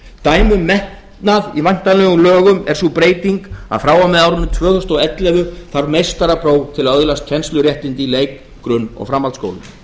dæmi um metnað í væntanlegum lögum er sú breyting að frá og með árinu tvö þúsund og ellefu þarf meistarapróf til að öðlast kennsluréttindi í leik grunn og framhaldsskólum